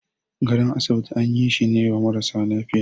gadon asibiti an yi shine wa marasa lafiya.